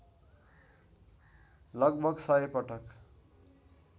लगभग १०० पटक